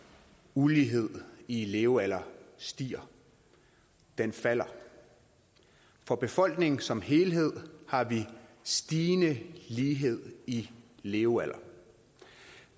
uligheden i levealder stiger den falder for befolkningen som helhed har vi stigende lighed i levealder